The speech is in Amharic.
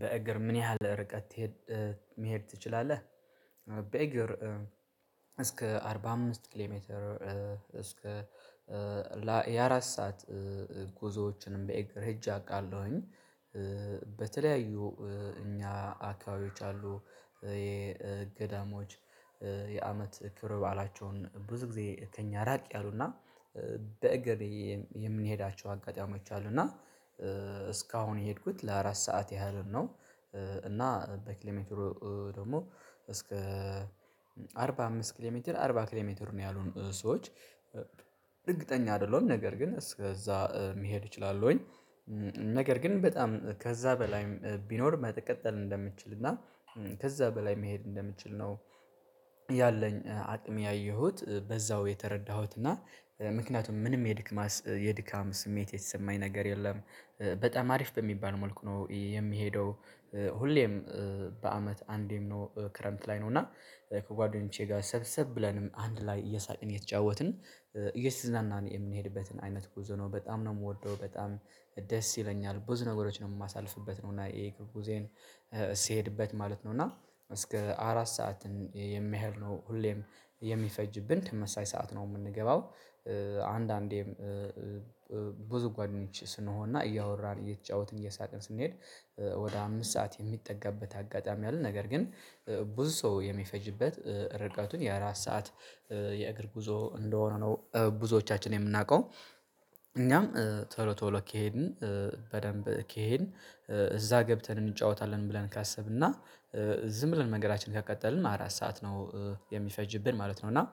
በእግር ምን ያህል ርቀት መሄድ ትችላለህ? በእግር እስከ አርባ አምስት ኪሎ ሜትር :እስከ የአራት ሰዓት- ጉዞዎችንም በእግር ሄጄ አውቃለሁኝ። በተለያዩ እኛ አካባቢዎች አሉ የገዳሞች የአመት ክብረ በዓላቸው ብዙ ጊዜ ከእኛ ራቅ ያሉና- በእግር የምንሄዳቸው አጋጣሚዎች አሉ። እና- እስካሁን የሄድኩት ለአራት ሰዓት ያህል ነው። እና በኪሎ ሜትሩ ደግሞ እስከ አርባ አምስት ኪሎ ሜትር አርባ ኪሎ ሜትሩ ነው ያሉት ሰዎች እርግጠኛ አይደለሁም። ነገር ግን እስከዛ መሄድ እችላለሁኝ። ነገር ግን በጣም ከዛ በላይም ቢኖር መቀጠል እንደምንችል እና ከዛ በላይ መሄድ እንደምችል ነው- ያለኝ አቅም ያየሁት በዛው የተረዳሁት እና ምክንያቱም ምንም የድክማ የድካም ስሜት የተሰማኝ ነገር የለም። በጣም አሪፍ በሚባል መልኩ ነው የሚሄደው። በአመት አንዴም ነው። ክረምት ላይ ነው እና- ከጓደኞቼ ጋር ሰብሰብ ብለንም አንድ ላይ እየሳቀን :የተጫወትን :እየተዝናናን የምንሄድበትን አይነት ጉዞ ነው በጣም ነው የምወደው። በጣም ደስ ይለኛል። ብዙ ነገሮችን ነው የማሳልፍበት ነው እና ይሄ ጉዞዬን- ስሄድበት ማለት ነው እና እስከ አራት ሰዓትን የሚያህል ነው ሁሌም የሚፈጅብን ተመሳሳይ ሰዓት ነው የምንገባው። አንዳንዴም ብዙ ጓደኞች ስንሆንና እያወራን :እየተጫወትን እየሳቅን: ስንሄድ ወደ አምስት ሰዓት የሚጠጋበት አጋጣሚ አለ። ነገር ግን- ብዙ ሰው የሚፈጅበት ርቀቱን የአራት ሰዓት የእግር ጉዞ እንደሆነ ነው ብዙዎቻችን የምናውቀው። እኛም ቶሎ ቶሎ ከሄድን በደንብ ከሄድን እዛ ገብተን እንጫወታለን ብለን ካሰብን እና ዝም ብለን ነገራችንን ከቀጠልን አራት ሰዓት ነው የሚፈጅብን ማለት ነው። እና-